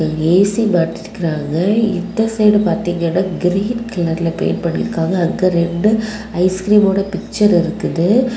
A C மாட்டிருக்காங்க இந்த side பாத்தீங்கன்னா கிரீன் கலர்ல பெயிண்ட் பண்ணிருக்காங்க அங்க ரெண்டு ஐஸ்கிரீம்மோட பிச்சர் இருக்குது.